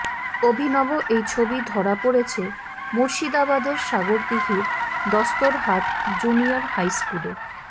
অভিনব এই ছবি ধরা পড়েছে মুর্শিদাবাদের সাগরদিঘির দস্তুরহাট জুনিয়র হাই স্কুলে